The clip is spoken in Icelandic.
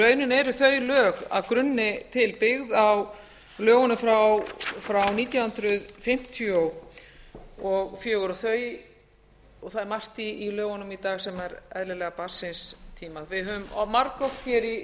rauninni eru þau lög að grunni til byggð á lögunum frá nítján hundruð fimmtíu og fjögur og það er margt í lögunum í dag sem er eðlilega barn síns tíma við höfum margoft hér í